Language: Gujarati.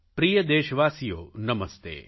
પ્રિય દેશવાસીઓ નમસ્તે